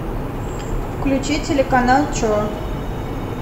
включи телеканал че